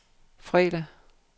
fredag